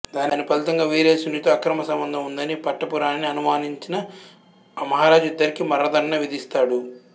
దాని ఫలితంగా వీరసేనునితో అక్రమ సంబంధం ఉందని పట్టపురాణిని అనుమానించిన మహరాజు ఇద్దరికీ మరణదండన విధిస్తాడు